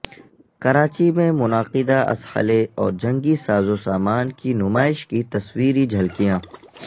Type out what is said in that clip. کراچی میں منعقدہ اسحلے اور جنگی ساز و سامان کی نمائش کی تصویری جھلکیاں